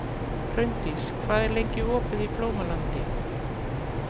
Hraundís, hvað er lengi opið í Blómalandi?